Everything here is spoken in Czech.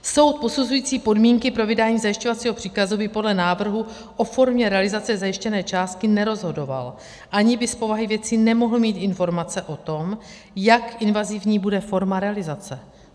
Soud posuzující podmínky pro vydání zajišťovacího příkazu by podle návrhu o formě realizace zajištěné částky nerozhodoval, ani by z povahy věci nemohl mít informace o tom, jak invazivní bude forma realizace.